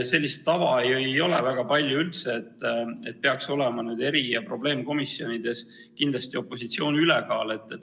Sellist tava üldse väga palju ei ole, et peaks olema eri- ja probleemkomisjonides kindlasti opositsiooni ülekaal.